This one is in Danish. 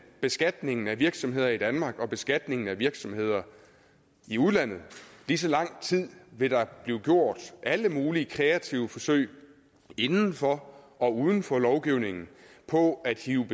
beskatningen af virksomheder i danmark og beskatningen af virksomheder i udlandet lige så lang tid vil der blive gjort alle mulige kreative forsøg inden for og uden for lovgivningen på at hive